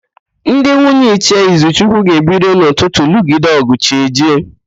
Ndị nwunye Ichie Izuchukwu ga-ebido n'ụtụtụ lụgide ọ̀gụ̀ chi ejie.